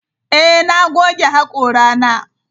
Ee, na goge hakorana.